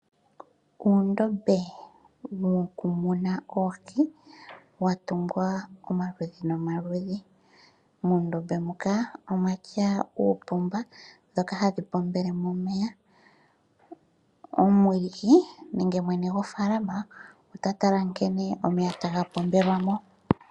Uundombe woku muna oohi watungwa omaludhi nomaludhi. Muundombe muka omwatya oopomba ndhoka hadhi pombele mo omeya. Nenge mwene gwofalama ota tala nkene omeya taga pombelwamo.